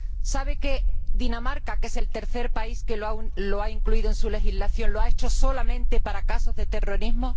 ¿Sabe que Dinamarca el tercer país que lo ha incluido en su legislación lo ha hecho solamente para casos de terrorismo?